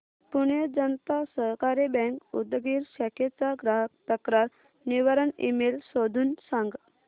पुणे जनता सहकारी बँक उदगीर शाखेचा ग्राहक तक्रार निवारण ईमेल शोधून सांग